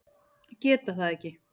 Geta það ekki.